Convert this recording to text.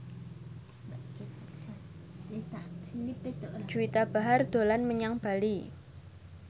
Juwita Bahar dolan menyang Bali